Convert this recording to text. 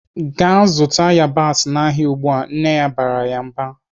"Gaa zụta yabasị n'ahịa ugbu a!" Nne barala ya mba.